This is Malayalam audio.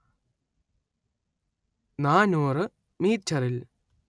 നാനൂറ് മീറ്ററിൽ